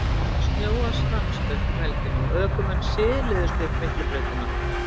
Það hafði snjóað stanslaust um helgina og ökumenn siluðust upp Miklubrautina.